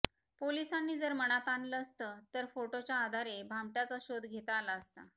पोलिसांनी जर मनात आणलं असतं तर फोटोच्या आधारे भामट्याचा शोध घेता आला असता